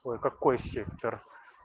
какой сектор